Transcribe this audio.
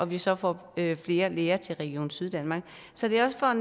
vi så får flere læger til region syddanmark så det er også for